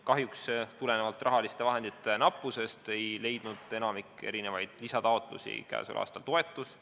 Kahjuks ei leidnud rahaliste vahendite nappusest tulenevalt enamik lisataotlusi käesoleval aastal toetust.